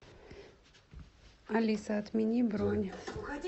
алиса отмени бронь